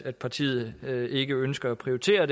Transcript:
at partiet ikke ønsker at prioritere